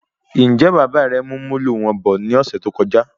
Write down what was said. Njẹ Bàbá rẹ mú Molo wọn bọ̀ ní ọsẹ tó kọjá